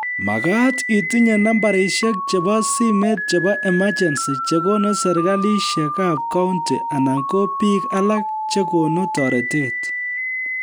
Makaat itinye nambarishek chebo simet chebo emergency chekonu serikalishekab kaunti anan ko biik alak chekonu toretet